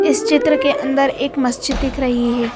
इस चित्र के अंदर एक मस्जिद दिख रही है।